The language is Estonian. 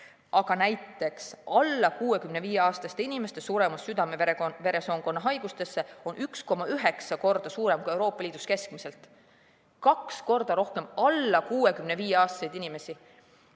Aga näiteks alla 65‑aastaste inimeste suremus südame-veresoonkonnahaigustesse on 1,9 korda suurem kui Euroopa Liidus keskmiselt, kaks korda rohkem sureb sellesse alla 65‑aastaseid inimesi.